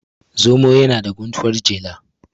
zomo yana da guntuwar jela